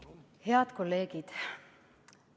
Head kolleegid!